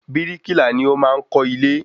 Bíríkìlá ni o maá n Kọ́ ilé